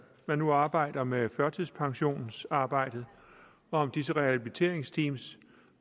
man nu arbejder med førtidspensionsreformen og disse rehabiliteringsteam